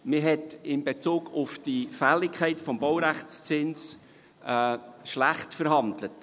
Man hat nach der Auffassung der Minderheit in Bezug auf die Fälligkeit des Baurechtszinses schlecht verhandelt.